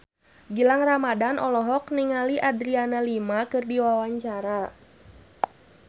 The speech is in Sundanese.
Gilang Ramadan olohok ningali Adriana Lima keur diwawancara